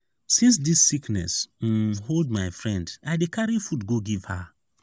since dis sickness um hold my friend i dey carry food go give her.